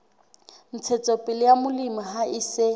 ntshetsopele ya molemi ha se